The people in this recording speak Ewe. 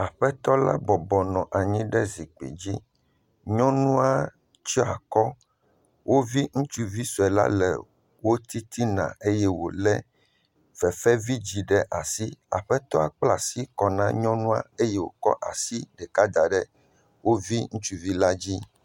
Aƒetɔ la bɔbɔnɔ anyi ɖe zikpui dzi. Nyɔnua tsɔ akɔ. Wovi ŋutsuvi sue la le wo titina eye wole fefevidzi ɖe asi. Aƒetɔa kpla asi kɔ na nyɔnua eye wokɔ asi ɖeka da ɖe wo vi ŋutsuvi la dzi.